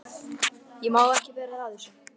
Ég má ekki vera að þessu.